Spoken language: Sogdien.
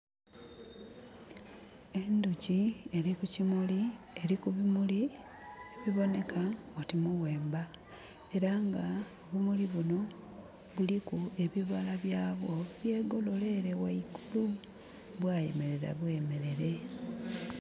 Endhoki eli kukimuli, eli ku bimuli ebibonheka oti muwemba. Era nga obumuli buno buliku ebibala byabwo, byegolola ele ghaigulu, bwayemelela bwemelere.